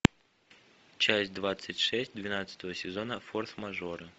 часть двадцать шесть двенадцатого сезона форс мажоры